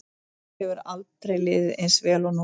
Mér hefur aldrei liðið eins vel og núna.